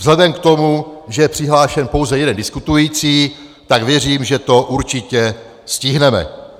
Vzhledem k tomu, že je přihlášen pouze jeden diskutující, tak věřím, že to určitě stihneme.